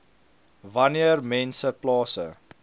wanneer mense plase